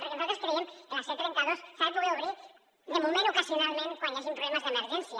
perquè nosaltres creiem que la c trenta dos s’ha de poder obrir de moment ocasionalment quan hi hagin problemes d’emergència